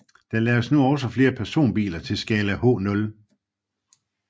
Der laves nu også flere personbiler til skala H0